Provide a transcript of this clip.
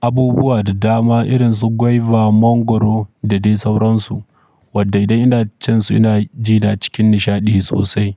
abubuwa da dama irin su guiva, mangwaro da dai sauransu wadda idan ina cin su ina ji na cikin nishaɗi sosai.